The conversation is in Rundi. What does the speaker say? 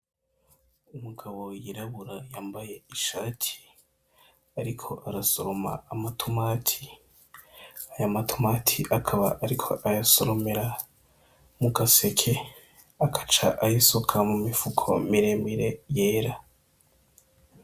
Umugabo yirabura yambaye ishati ariko arasoroma amatomati, aya matomati akaba ariko ayasoromera mu gaseke akaca ayisuka mu mifuko miremire yera.